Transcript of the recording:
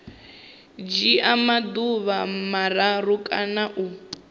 dzhia maḓuvha mararu kana u